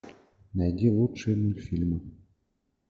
найди лучшие мультфильмы